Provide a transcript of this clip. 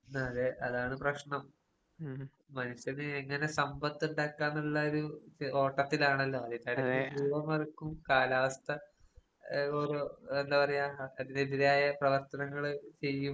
അതെ അതാണ് പ്രശ്നം. മനുഷ്യന് എങ്ങനെ സമ്പത്ത് ഉണ്ടാക്കാന്നുള്ളൊരു ഓട്ടത്തിലാണല്ലോ അതിന്‍റിടയ്ക്ക് മറക്കും കാലാവസ്ഥാ അത് ഓരോ എന്താ പറയാ അതിന് എതിരായ പ്രവർത്തനങ്ങള് ചെയ്യും